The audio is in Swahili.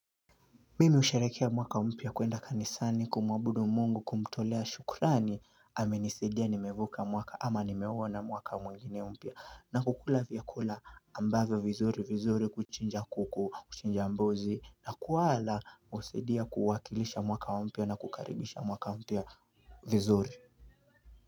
Mimi husherekea mwaka mpya kuenda kanisani kumwabudu mungu kumtolea shukrani Amenisadia nimevuka mwaka ama nimeona mwaka mwingine mpya na kukula vyakula ambavyo vizuri vizuri kuchinja kuku kuchinja mbuzi na kuwala husaidia kuwakilisha mwaka mpya na kukaribisha mwaka mpya vizuri.